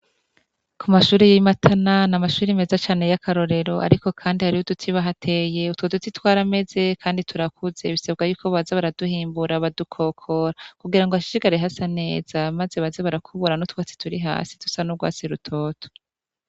Ku mashure y'i Matana, n'amashure meza cane y'akarorero, ariko kandi hariho uduti bahateye, utwo duti twarameze kandi turakuze, bisabwa yuko baza baraduhimbura badukokora, kugira ngo hashishikare hasa neza, maze baze barakubura n'utwatsi turi hasi dusa n'urwatsi rutoto.